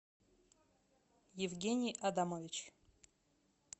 евгений адамович